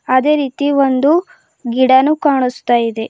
ಅದೇ ರೀತಿ ಒಂದು ಗಿಡನು ಕಾನುಸ್ತಾ ಇದೆ.